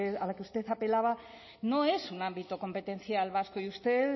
a la que usted apelaba no es un ámbito competencial vasco y usted